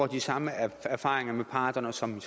de samme erfaringer med parterne som jeg